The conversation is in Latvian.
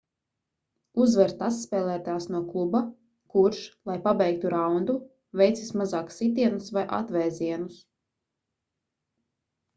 uzvar tas spēlētājs no kluba kurš lai pabeigtu raundu veic vismazāk sitienus vai atvēzienus